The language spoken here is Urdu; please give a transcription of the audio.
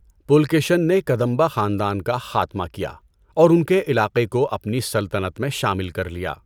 پُلکیشن نے کدمبا خاندان کا خاتمہ کیا، اور ان کے علاقے کو اپنی سلطنت میں شامل کر لیا۔